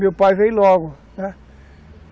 Meu pai veio logo, né.